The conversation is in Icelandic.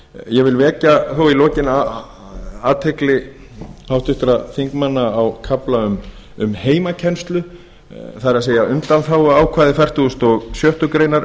ég vil þó í lokin vekja athygli háttvirtra þingmanna á kafla um heimakennslu það er undanþáguákvæði fertugasta og sjöttu greinar